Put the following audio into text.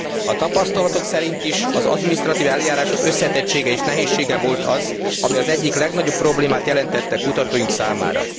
A tapasztalatok szerint is az adminisztratív eljárások összetettsége és nehézsége volt az, ami az egyik legnagyobb problémát jelentette kutatóink számára.